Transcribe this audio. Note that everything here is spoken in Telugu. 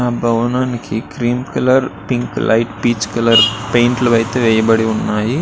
ఆ భవనానికి cream colour pink light peach colour paint లు అయితే వేయబడి ఉన్నాయి.